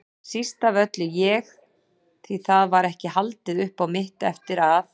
Síst af öllu ég, því það var ekki haldið upp á mitt eftir að